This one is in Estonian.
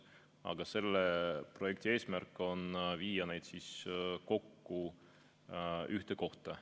Aga selle projekti eesmärk on viia need kokku ühte kohta.